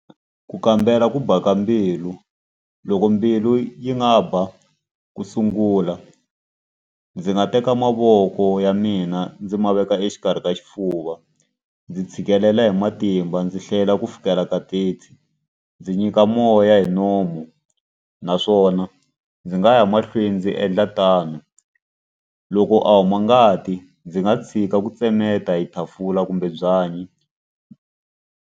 Ku kambela ku ba ka mbilu loko mbilu yi nga ba ku sungula, ndzi nga teka mavoko ya mina ndzi ma veka exikarhi ka xifuva, ndzi tshikelela hi matimba, ndzi hlayela ku fikela ka thirty, ndzi nyika moya hi nomu naswona ndzi nga ya mahlweni ndzi endla tano. Loko a huma ngati ndzi nga tshika ku tsemeta hi kumbe byanyi.